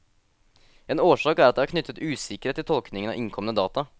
En årsak er at det er knyttet usikkerhet til tolkningen av innkomne data.